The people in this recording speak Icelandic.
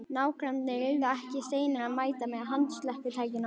Nágrannarnir yrðu ekki seinir að mæta með handslökkvitækin á lofti.